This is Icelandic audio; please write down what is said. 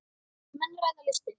Menn ræða listir.